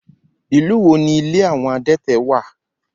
Ìlú wo ní ilé àwọn adẹ́tẹ̀ wà?